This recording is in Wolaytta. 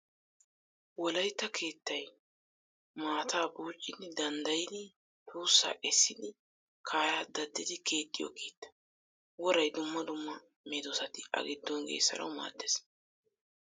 Wolaytta keettay maataa buuccidi daddayidi tuussaa essidi kaaraa daddidi keexxiyo keetta. Woray dumma dumma kare medossati a giddon geessanawu maaddes.